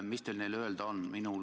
Mis teil nendele öelda on?